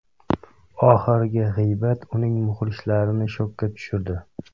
Oxirgi g‘iybat uning muxlislarini shokka tushirdi.